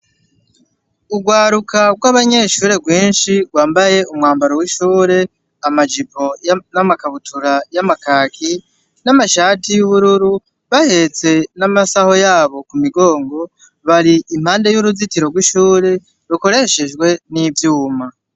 Urwaruka bw'abanyeshure rwinshi rwambaye umwambaro w'ishure amajipo n'amakabutura y'amakaki n'amashati y'ubururu bahetse n'amasaho yabo ku migongo bari impande y'uruzitiro rw'ishure rukoreshejwe n'ivyuma.